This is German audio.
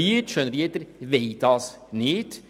Die Schönrieder wollen das nicht.